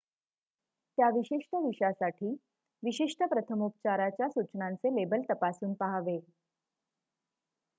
त्या विशिष्ट विषा साठी विशिष्ट प्रथमोपचाराच्या सूचनांचे लेबल तपासून पहावे